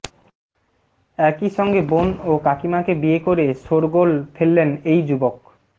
একই সঙ্গে বোন ও কাকিমাকে বিয়ে করে শোরগোল ফেললেন এই যুবক